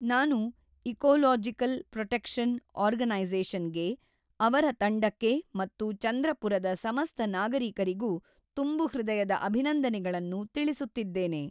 ನಾನು ecological protection organisation ಗೆ, ಅವರ ತಂಡಕ್ಕೆ ಮತ್ತು ಚಂದ್ರಪುರದ ಸಮಸ್ತ ನಾಗರೀಕರಿಗೂ ತುಂಬು ಹೃದಯದ ಅಭಿನಂದನೆಗಳನ್ನು ತಿಳಿಸುತ್ತಿದ್ದೇನೆ.